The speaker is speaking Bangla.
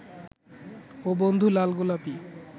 ও বন্ধু লাল গোলাপী